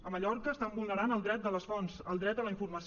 a mallorca estan vulnerant el dret de les fonts el dret a la informació